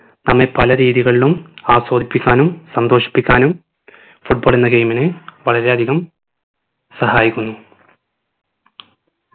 നമ്മെ പല രീതികളിലും ആസ്വദിപ്പിക്കാനും സന്തോഷിപ്പിക്കാനും football എന്ന game ഇന് വളരെയധികം സഹായിക്കുന്നു